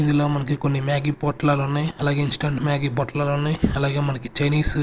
ఇందులో మనకి కొన్ని మ్యాగీ పోట్లాలున్నాయ్ అలాగే ఇన్స్టంట్ మ్యాగీ పొట్లాలున్నాయ్ అలాగే మనకు చైనీసు --